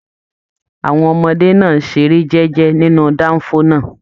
Àwọn ọmọdé náà n ṣeré jẹjẹ nínú danfo náà.